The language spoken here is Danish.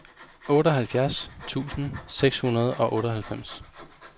otteoghalvfjerds tusind seks hundrede og otteoghalvfems